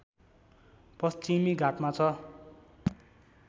पश्चिमी घाटमा छ